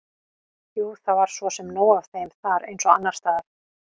Jú, það var svo sem nóg af þeim þar eins og annars staðar.